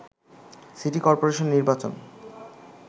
city corporation নির্বাচন